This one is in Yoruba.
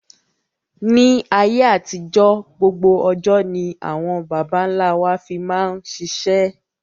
Ni ayé àtijọ́ gbogbo ọjọ́ ni àwọn baba ńlá wa fi máa ṣiṣẹ́